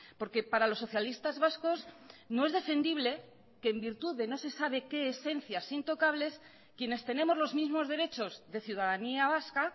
porque para los socialistas vascos no es defendible que en virtud de no se sabe qué esencias intocables quienes tenemos los mismos derechos de ciudadanía vasca